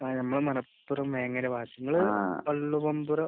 ആഹ്. നമ്മൾ മലപ്പുറം വേങ്ങര ഭാഗത്ത്. നിങ്ങൾ